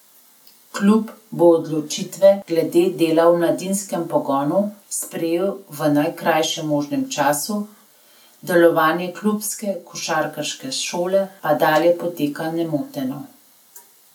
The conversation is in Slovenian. Klub bo odločitve glede dela v mladinskem pogonu sprejel v najkrajšem možnem času, delovanje klubske košarkarske šole pa dalje poteka nemoteno.